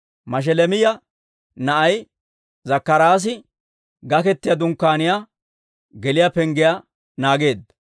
Mashelemiyaa na'ay Zakkaraasi Gakketiyaa Dunkkaaniyaa geliyaa penggiyaa naageedda.